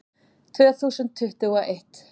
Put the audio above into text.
Tvö þúsund tuttugu og eitt